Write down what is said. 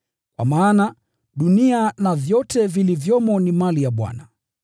Kwa maana, “Dunia na vyote vilivyomo ni mali ya Bwana.”